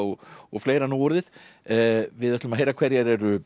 og fleira nú orðið við ætlum að heyra hverjar eru